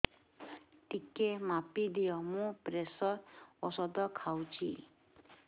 ଟିକେ ମାପିଦିଅ ମୁଁ ପ୍ରେସର ଔଷଧ ଖାଉଚି